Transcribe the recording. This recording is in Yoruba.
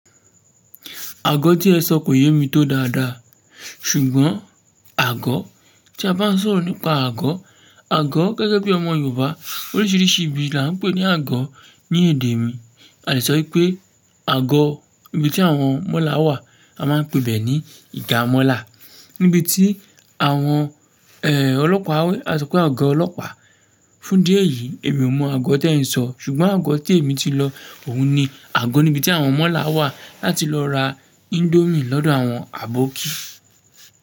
Àgọ́ tí ẹ sọ kò yé mi tó dáadáa, ṣùgbọ́n àgọ́ tí a bá ń sọ̀rọ̀ nípa àgọ́, àgọ́ gẹ́gẹ́ bí ọmọ Yorùbá oríṣiríṣi ibi la ń pè ní àgọ́ ní èdè mi. A lè sọ wipé àgọ́ ibi tí àwọn mọ́là wà, a máa ń pe bẹ́ ní ìgà mọ́là. Níbi tí àwọn, ẹ́ẹ́, ọlọ́pàá, kasọ pé àgọ́ ọlọ́pàá. Fún idíẹ yìí èmi ò mọ àgọ́ tí ẹ ń sọ, ṣùgbọ́n àgọ́ tí èmi ti lọ òun ni àgọ́ níbi tí àwọn mọ́là wà láti lọ ra indomie lọ́dọ̀ àwọn aboki.